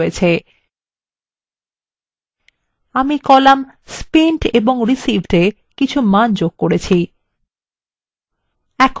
আমি column spent এবং receivedএ কিছু মান যোগ করেছি